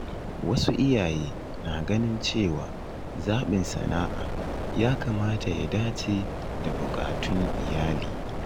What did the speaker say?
Wasu iyaye na ganin cewa zaɓin sana’a ya kamata ya dace da buƙatun iyali.